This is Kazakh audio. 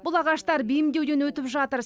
бұл ағаштар бейімдеуден өтіп жатыр